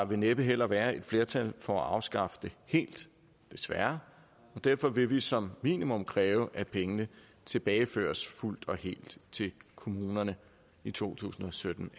vil næppe heller være et flertal for at afskaffe det helt desværre og derfor vil vi som minimum kræve at pengene tilbageføres fuldt og helt til kommunerne i to tusind og sytten